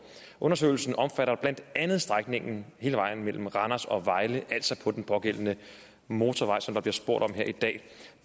undersøgelsen omfatter blandt andet strækningen hele vejen mellem randers og vejle altså den motorvej som der bliver spurgt om her i dag